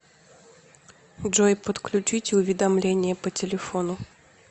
джой подключите уведомление по телефону